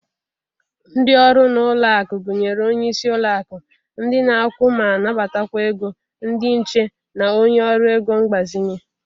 Ndị ọrụ n'ụlọakụ gụnyere onye isi ụlọakụ, ndị na-akwụ ma nabatakwa ego, ndị nche, na onye ọrụ ego mgbazinye.